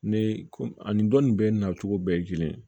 Ne ko ani dɔ nin bɛɛ na cogo bɛɛ ye kelen ye